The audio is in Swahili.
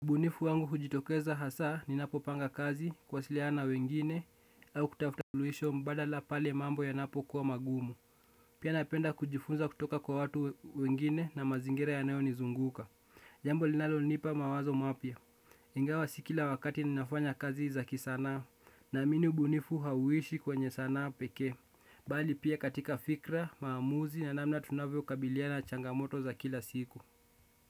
Ubunifu wangu hujitokeza hasa ninapo panga kaz, kuwasiliana na wengine au kutafuta suluhisho mbadala pale mambo yanapokuwa magumu. Pia napenda kujifunza kutoka kwa watu wengine na mazingira yanayo nizunguka. Jambo linalo nipa mawazo mapya. Ingawa si kila wakati ninafanya kazi za kisanaa. Naamini ubunifu hauishi kwenye sanaa peke. Bali pia katika fikra, maamuzi na namna tunavyo kabiliana na changamoto za kila siku.